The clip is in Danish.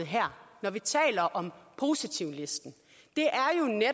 her når vi taler om positivlisten